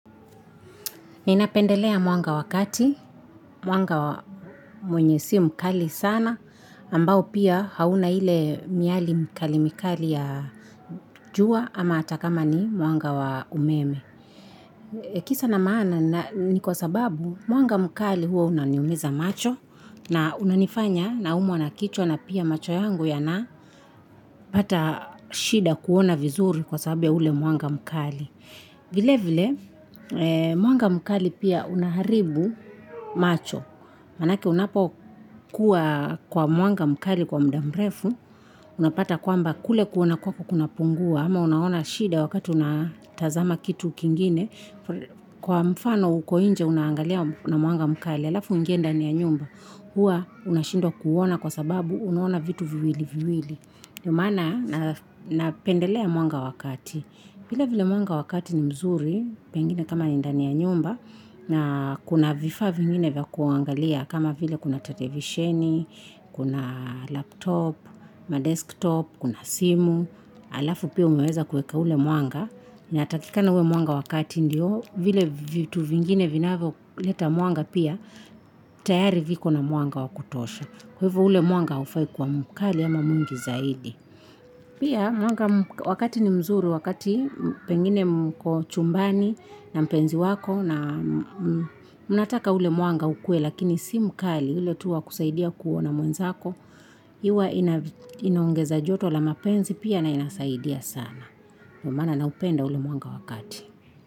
Ninapendelea mwanga wa kati, mwanga mwenye si mkali sana, ambao pia hauna ile miali mikali mikali ya jua ama hata kama ni mwanga wa umeme. Kisa na maana ni kwa sababu mwanga mkali huwa unaniumiza macho, na unanifanya naumwa na kichwa na pia macho yangu yanapata shida kuona vizuri kwa sababu ya ule mwanga mkali. Vile vile mwanga mkali pia unaharibu macho manake unapokuwa kwa mwanga mkali kwa mda mrefu, unapata kwamba kule kuona kwako kunapungua ama unaona shida wakati unatazama kitu kingine. Kwa mfano uko inje unaangalia na mwanga mkali halafu uingie ndani ya nyumba, huwa unashindwa kuona kwa sababu unaona vitu viwili viwili. Ndo maana napendelea mwanga wa kati. Vile vile mwanga wa kati ni mzuri, pengine kama ni ndani ya nyumba, na kuna vifaa vingine vya kuangalia kama vile kuna televisheni, kuna laptop, na desktop, kuna simu, halafu pia umeweza kuweka ule mwanga. Inatakikana uwe mwanga wa kati ndio vile vitu vingine vinavyoleta mwanga pia tayari viko na mwanga wa kutosha, kwa hivo ule mwanga hufai kuwa mkali ama mwingi zaidi. Pia mwanga wa kati ni mzuri wakati pengine mko chumbani na mpenzi wako na mnataka ule mwanga ukuwe lakini si mkali ile tu wa kusaidia kuona mwenzako, jua ina inaongeza joto la mapenzi pia na inasaidia sana. Ndo maana naupenda ule mwanga wa kati.